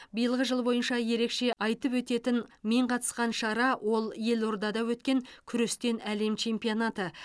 биылғы жыл бойынша ерекше айтып өтетін мен қатысқан шара ол елордада өткен күрестен әлем чемпионаты